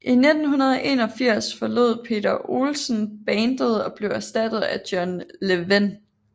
I 1981 forlod Peter Olsson bandet og blev erstattet af John Levén